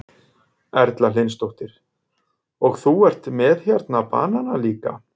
Erla Hlynsdóttir: Og þú ert með hérna banana líka?